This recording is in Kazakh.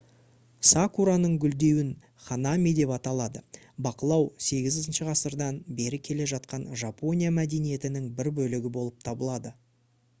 сакураның гүлдеуін ханами деп аталады бақылау 8-ғасырдан бері келе жатқан жапония мәдениетінің бір бөлігі болып табылады